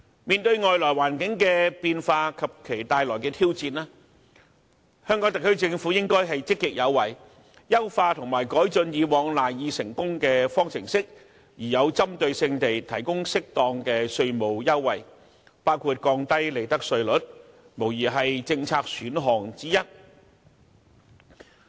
面對外來環境的變化及其帶來的挑戰，香港特區政府應積極有為，優化和改進以往賴以成功的方程式，並針對性地提供適當的稅務優惠，降低利得稅率，無疑是政策選項之一。